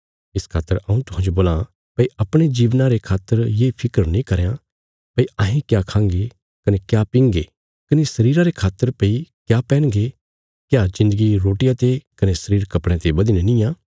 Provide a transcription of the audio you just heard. इस खातर हऊँ तुहांजो बोलां भई अपणे जीवना रे खातर ये फिक्र नीं करयां भई अहें क्या खांगे कने क्या पींगे कने शरीरा रे खातर भई क्या पैन्हगे क्या जिन्दगी रोटिया ते कने शरीर कपड़यां ते बधीने निआं